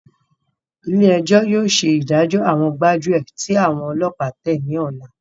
Ilé ẹjọ́ yóò ṣe ìdájọ àwọn gbájúẹ̀ tí àwọn ọlọ́pàá tẹ ní ọlá.